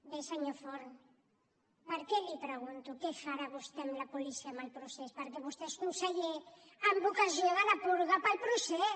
bé senyor forn per què li pregunto què farà vostè amb la policia en el procés perquè vostè és conseller amb ocasió de la purga pel procés